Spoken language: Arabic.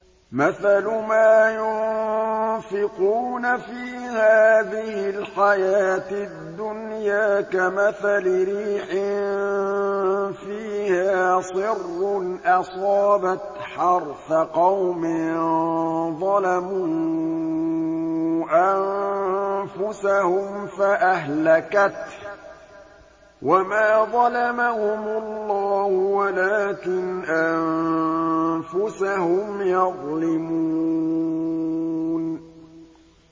مَثَلُ مَا يُنفِقُونَ فِي هَٰذِهِ الْحَيَاةِ الدُّنْيَا كَمَثَلِ رِيحٍ فِيهَا صِرٌّ أَصَابَتْ حَرْثَ قَوْمٍ ظَلَمُوا أَنفُسَهُمْ فَأَهْلَكَتْهُ ۚ وَمَا ظَلَمَهُمُ اللَّهُ وَلَٰكِنْ أَنفُسَهُمْ يَظْلِمُونَ